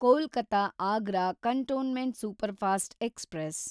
Kolkata Agra cantonment superfast express